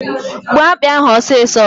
Gbuo akpị ahụ ọsịsọ!